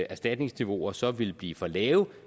erstatningsniveauer så ville blive for lave